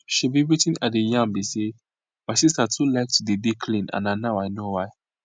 shebi wetin i dey yan bi say my sister too like to dey dey clean and na now i know why